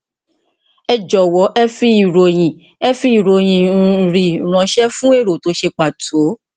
ẹ jọwọ ẹ fi ìròyìn ẹ fi ìròyìn mri ránṣẹ fún èrò tó ṣe pàtó